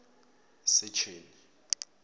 secheni